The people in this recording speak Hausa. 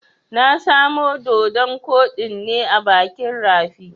Na samo doɗon koɗin ne a bakin rafi.